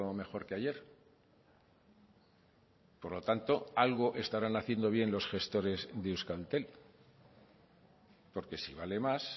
mejor que ayer por lo tanto algo estarán haciendo bien los gestores de euskaltel porque si vale más